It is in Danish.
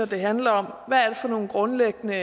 det handler om hvad det er for nogle grundlæggende